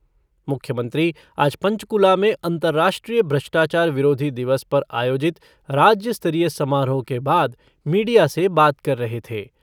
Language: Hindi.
मुख्यमंत्री आज पंचकुला में अंतर्राष्ट्रीय ब्राष्टाचार विरोधी दिवस पर आयोजित राज्य स्तरीय समारोह के बाद मीडिया से बात कर रहे थे।